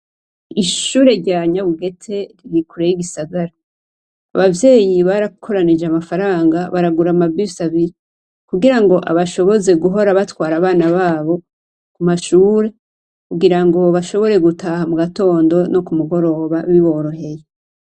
Ishure rya Nyabugete riri kure y'igisagara. Abavyeyi barakoranije amafaranga, baragura ama bisi abiri kugirango abashoboze guhora batwara abana babo ku mashure kugirango bashobore gutaha mu gatondo no ku mugoroba biboroheye.